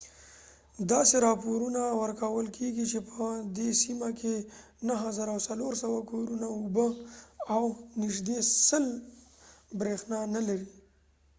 داسې راپورونه ورکول کیږي چې په دې سیمه کې 9400 کورونه اوبه او نږدې 100 بریښنا نلري